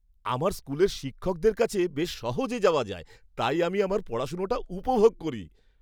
আমার স্কুলের শিক্ষকদের কাছে বেশ সহজে যাওয়া যায়। তাই আমি আমার পড়াশোনাটা উপভোগ করি।